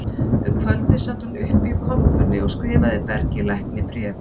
Um kvöldið sat hún uppi í kompunni og skrifaði Bergi lækni bréf